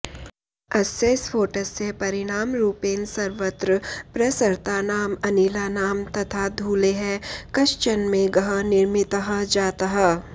अस्य स्फोटस्य परिणामरूपेण सर्वत्र प्रसृतानाम् अनिलानां तथा धूलेः कश्चन मेघः निर्मितः जातः